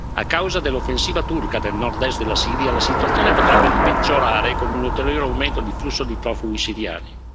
A causa dell'offensiva turca nel nord est della Siria, la situazione potrebbe peggiorare con un ulteriore aumento di flusso di profughi siriani.